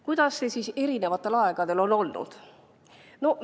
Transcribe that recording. Kuidas see siis eri aegadel on olnud?